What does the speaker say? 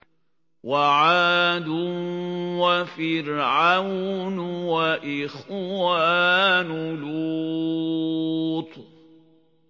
وَعَادٌ وَفِرْعَوْنُ وَإِخْوَانُ لُوطٍ